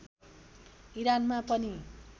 इरानमा पनि